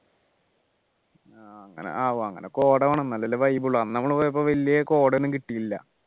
ആഹ് അങ്ങനെ അങ്ങനെ കോട വേണം എന്നാലല്ലേ vibe ഉള്ളു അന്ന് നമ്മൾ പോയപ്പോൾ വല്യ കോടയൊന്നും കിട്ടിയില്ല